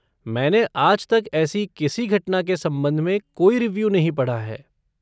मैंने आज तक ऐसी किसी घटना के संबंध में कोई रिव्यू नहीं पढ़ा है।